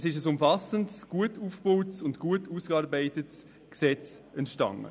Es ist ein umfassendes, gut aufgebautes und gut ausgearbeitetes Gesetz entstanden.